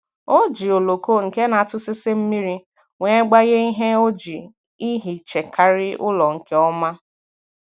O ji oloko nke na atụsịsị mmiri wee gbanye ihe o ji ehichakari ụlọ nke ọma.